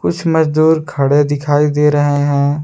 मजदूर खड़े दिखाई दे रहे हैं।